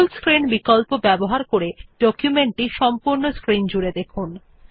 ফুল screen বিকল্প ব্যবহার করে ডকুমেন্টটি সম্পূর্ণ স্ক্রিন জুড়ে দেখুন